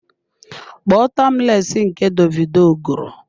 Kpọọ timeless nke Davido gụrụ!